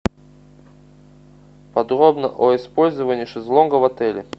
подробно о использовании шезлонга в отеле